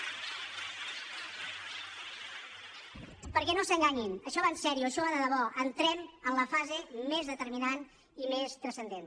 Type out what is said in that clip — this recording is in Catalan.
perquè no s’enganyin això va seriosament això va de debò entrem en la fase més determinant i més transcendent